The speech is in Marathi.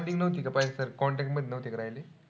Bonding नव्हती का पहिले सारखी contact मध्ये नव्हते का राहिले?